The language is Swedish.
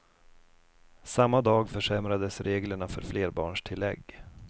Samma dag försämrades reglerna för flerbarnstillägg.